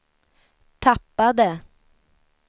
tappade